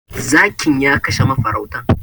Zakin ya kashe mafarautan.